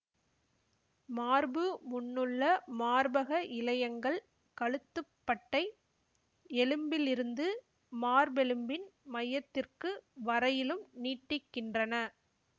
மார்பு முன்னுள்ள மார்பக இழையங்கள் கழுத்துப்பட்டை எலும்பிலிருந்து மார்பெலும்பின் மையத்திற்கு வரையிலும் நீட்டிக்கின்றன